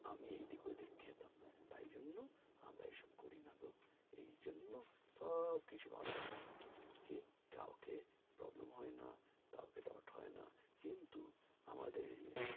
আমি এদিক ঐদিক খেতাম তাই জন্য আমরা এইসব করি না গো এইজন্য সব কিছু যেন ভালো রাখে কি কাউকে problem হয় না কাউকে কেউ ঠকায় না কিন্তু আমাদের